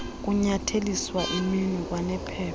kunyatheliswa iminwe kwanephepha